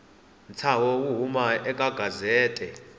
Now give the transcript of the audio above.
ntshaho wo huma eka gazette